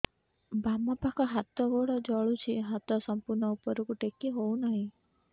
ବାମପାଖ ହାତ ଗୋଡ଼ ଜଳୁଛି ହାତ ସଂପୂର୍ଣ୍ଣ ଉପରକୁ ଟେକି ହେଉନାହିଁ